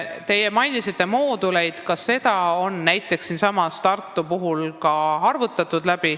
Te mainisite mooduleid, ka see variant on näiteks Tartus läbi arutatud.